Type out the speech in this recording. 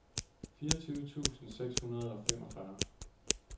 fireogtyve tusind seks hundrede og femogfyrre